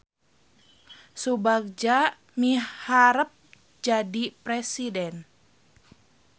Subagja miharep jadi presiden